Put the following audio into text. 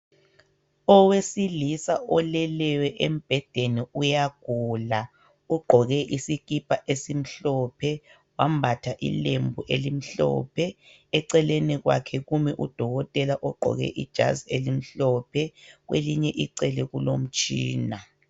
Owesilisa oleleyo embhedeni uyagula, ugqoke isikipha esimhlophe, wambatha ilembu elimhlophe. Eceleni kwakhe kumi udokotela ogqoke ijazi elimhlophe kwelinye icele kulomtshina